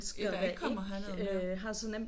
Ja der ikke kommer herned ja